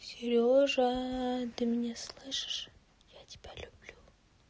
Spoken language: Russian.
сережа ты меня слышишь я тебя люблю